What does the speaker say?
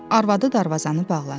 Arvadı darvazanı bağladı.